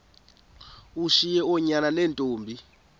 ushiye oonyana neentombi